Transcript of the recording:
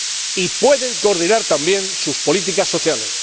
y pueden coordinar también sus políticas sociales.